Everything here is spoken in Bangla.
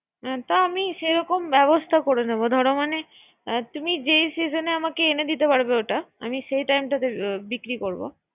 এ রকম অনেক, এটা আমি সেরকম ব্যবস্থা করে নিব। ধর মানে তুমি যেই সিজনে আমাকে এনে দিতে পারবে ওটা আমি সেই time টাতে আমি বিক্রি করব